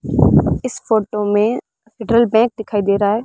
इस फोटो में drill bag दिखाई दे रहा है।